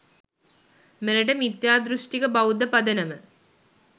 මෙරට මිත්‍යාදෘෂ්ටික බෞද්ධ පදනම